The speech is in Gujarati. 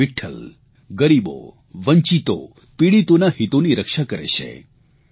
ભગવાન વિઠ્ઠલ ગરીબો વંચિતો પીડીતોના હિતોની રક્ષા કરે છે